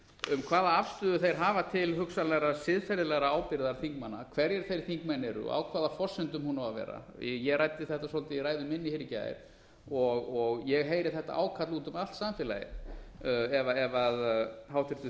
um hvaða afstöðu þeir hafa til hugsanlegrar siðferðilegrar ábyrgðar þingmanna hverjir þeir þingmenn eru og á hvaða forsendum hún á að vera ég ræddi þetta svolítið í ræðu minni hér í gær og ég heyri þetta ákall úti um allt samfélagið ef háttvirtur